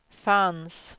fanns